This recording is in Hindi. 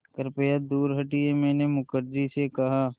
कृपया दूर हटिये मैंने मुखर्जी से कहा